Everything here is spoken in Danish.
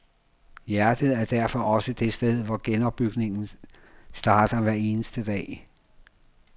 Hjertet er derfor også det sted, hvor genopbygningen starter hver eneste dag.